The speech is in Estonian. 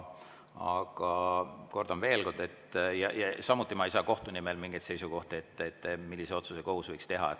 Samuti ei saa ma kohtu nimel mingeid seisukohti öelda, et millise otsuse kohus võiks teha.